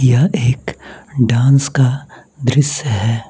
यह एक डांस का दृश्य है।